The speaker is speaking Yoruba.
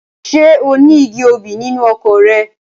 Ṣé oní igi obì nínú oko rẹ?